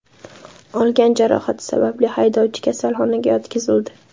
Olgan jarohati sababli haydovchi kasalxonaga yotqizildi.